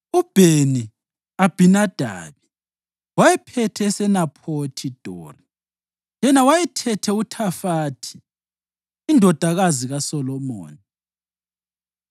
uBheni-Abhinadabi wayephethe eseNaphothi Dori (yena wayethethe uThafathi indodakazi kaSolomoni);